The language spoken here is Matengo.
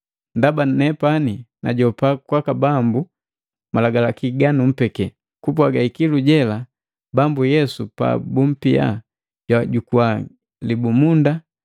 Ndaba nepani najopa kwaka Bambu malagalaki ga numpeki: Kupwaga ikilu jela Bambu Yesu pabumpia, jwajukua libumunda,